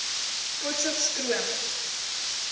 potchefstromo